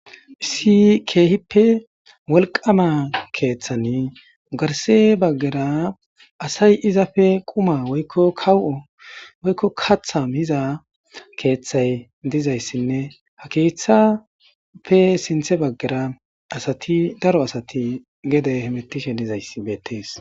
Isi keehippe wolqama keeththani garse baggara asay izafe quma kaw'o woykko katha miza keeththay dizayssinne ha keethappe sinthe baggara asati daro asati gede hemettishe dizays beettees